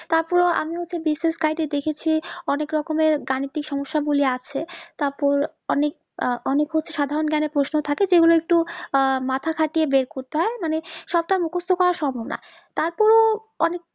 তা হলেও আমিও একটা বিশেষ কায়দায় দেখেছি অনিক রকমের গানিতিক সমস্যা গুলো আছে তারপর অনিক হচ্ছে সাধারণ জ্ঞানেই প্রশ্ন থাকে যেগুলো একটু আহ মাথা খাটিয়ে বের করতে হয় মানে সবটা মুকস্ত করা সম্ভব না তাতেও অনিক